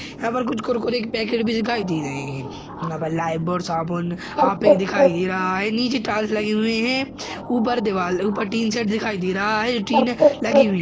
यहाँ पर कुछ कुरकुरे के पैकेट भी दिखाई दे रहे हैं यहाँ पे लिफएबॉय साबुन हार्यपिक दिखाई दे रहा है नीचे टाइल्स लगे हुए हैं ऊपर दीवाल ऊपर टीन शेड दिखाई दे रहा है जो टीने लगी हुई ।